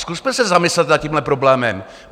Zkusme se zamyslet nad tímhle problémem.